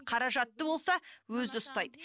қаражатты болса өзі ұстайды